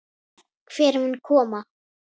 Hver mun koma?